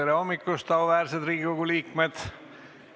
Tere hommikust, auväärsed Riigikogu liikmed!